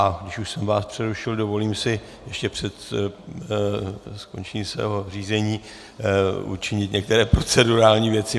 A když už jsem vás přerušil, dovolím si ještě před skončením svého řízení učinit některé procedurální věci.